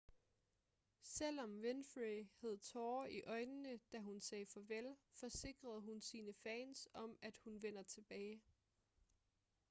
selvom winfrey havde tårer i øjnene da hun sagde farvel forsikrede hun sine fans om at hun vender tilbage